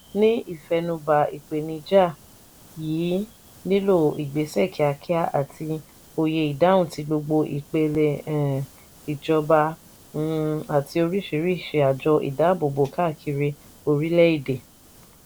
ní ìfẹnubà ìpènijà yìí nílò ìgbésẹ̀ kíákíá àti òye ìdáhùn tí gbogbo ìpele um ìjọba um àti oríṣiríṣi àjọ ìdábòbò káàkiri orílẹ̀-èdè.